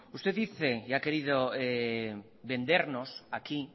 usted dice y ha querido vendernos aquí